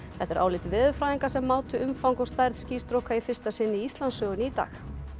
þetta er álit veðurfræðinga sem mátu umfang og stærð í fyrsta sinn í Íslandssögunni í dag